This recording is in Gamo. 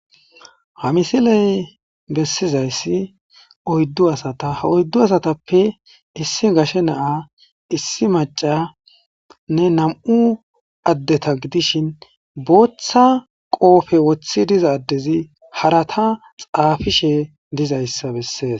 Ha missiley bessizayssi oyddu assata ha oyddu assatappe issi gashshe na'a issi maccanne nam'u addeta gidishshin booththa qoppe woththi diiza addezi haaratta xaafishe diizayssa besses.